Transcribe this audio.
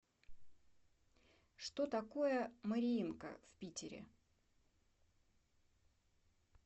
что такое мариинка в питере